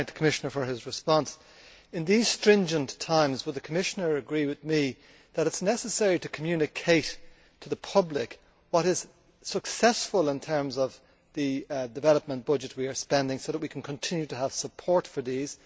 May I thank the Commissioner for his response. In these stringent times, would the Commissioner agree with me that it is necessary to communicate to the public what is successful in terms of the development budget we are spending so that we can ensure continued support for this?